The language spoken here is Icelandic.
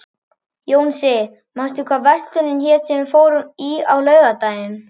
Jónsi, manstu hvað verslunin hét sem við fórum í á laugardaginn?